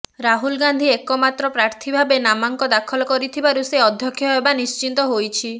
ରାହୁଲ ଗାନ୍ଧୀ ଏକମାତ୍ର ପ୍ରାର୍ଥୀ ଭାବେ ନାମାଙ୍କ ଦାଖଲ କରିଥିବାରୁ ସେ ଅଧ୍ୟକ୍ଷ ହେବା ନିଶ୍ଚିତ ହୋଇଛି